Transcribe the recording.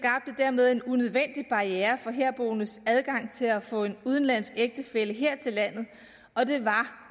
dermed en unødvendig barriere for herboendes adgang til at få en udenlandsk ægtefælle her til landet og det var